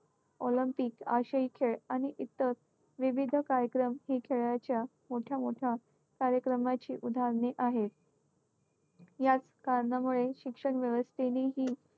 olympic आशियाई खेळ आणि इतर विविध कार्यक्रम ही खेळाच्या मोठ्या मोठ्या कार्यक्रमाची उदाहरणे आहेत. याच कारणामुळे शिक्षण व्यवस्थेनेही